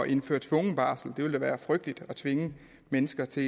indføre tvungen barsel det ville da være frygteligt at tvinge mennesker til